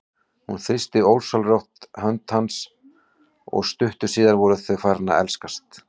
Hún þrýsti ósjálfrátt hönd hans og stuttu síðar voru þau farin að elskast.